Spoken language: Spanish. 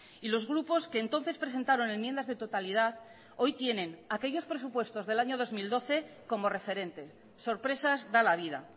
y los grupos que entonces presentaron enmiendas de totalidad hoy tienen aquellos presupuestos del año dos mil doce como referente sorpresas da la vida